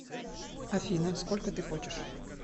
афина сколько ты хочешь